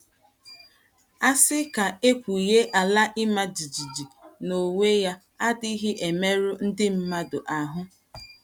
A sị ka e kwuwe, ala ị́ma jijiji n’onwe ya adịghị emerụ ndị mmadụ ahụ.